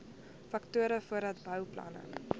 faktore voordat bouplanne